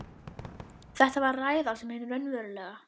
Þetta var ræða sem hin raunverulega